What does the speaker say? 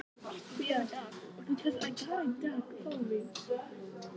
Þetta hugtak gat hugsanlega útskýrt hegðun mína.